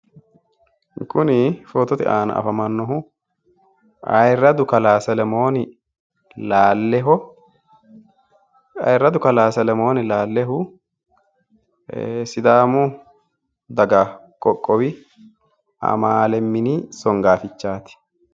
Kuni footote aana afamannohu ayiirradu kalaa selemooni lalleho ayiirradu kalaa selemooni laallehu sidaamu daga qoqqowi amaale mini songaafichaati